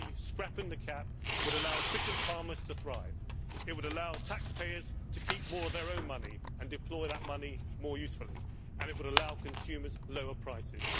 Scrapping the CAP would allow efficient farmers to thrive. It would allow taxpayers to keep more of their own money and deploy that money more usefully, and it would allow consumers lower prices.